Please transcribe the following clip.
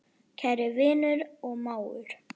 Kæri vinur og mágur.